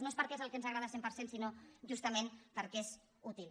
no és perquè és el que ens agrada al cent per cent sinó justament perquè és útil